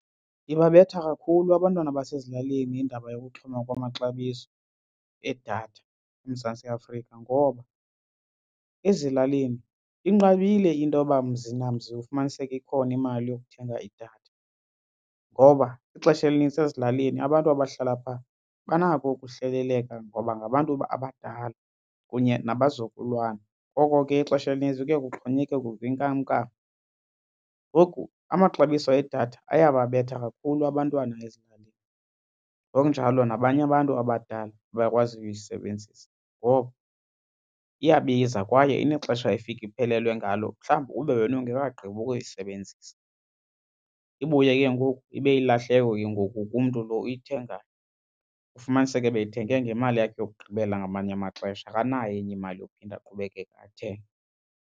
Ibabetha kakhulu abantwana basezilalini indaba yokuxhuma kwamaxabiso edatha eMzantsi Afrika ngoba ezilalini inqabile into yoba mzi namzi ufumaniseke ikhona imali yokuthenga idatha ngoba ixesha elinintsi ezilalini abantu abahlala phaa banako ukuhleleleka ngoba ngabantu abadala kunye nabazukulwana. Ngoko ke ixesha elinintsi kuye kuxhonyekekwe ngokwenkamnkam ngoku amaxabiso edatha ayababetha kakhulu abantwana ezilalini ngokunjalo nabanye abantu abadala abakwaziyo uyisebenzisa ngoba iyabiza kwaye inexesha efika iphelelwe ngalo mhlawumbi ube wena ungekagqibi ukuyisebenzisa. Ibuye ke ngoku ibe yilahleko ke ngoku kumntu lo uyithengayo. Ufumaniseke beyithenge ngemali yakhe yokugqibela ngamanye amaxesha, akanayo enye imali yophinda aqhubekeke athenge.